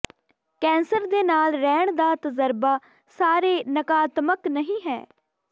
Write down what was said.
cancer ਦੇ ਨਾਲ ਰਹਿਣ ਦਾ ਤਜਰਬਾ ਸਾਰੇ ਨਕਾਰਾਤਮਕ ਨਹੀਂ ਹੈ